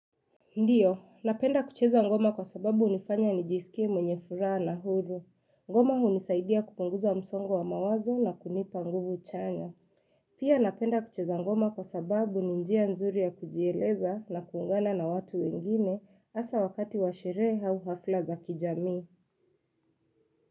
Ndiyo, napenda kucheza ngoma kwa sababu unifanya nijisikie mwenye fura na hulu. Ngoma hunisaidia kupunguza msongo wa mawazo na kunipa nguvu chanya. Pia napenda kucheza ngoma kwa sababu ninjia nzuri ya kujieleza na kuungana na watu wengine asa wakati washere hau hafila za kijamii.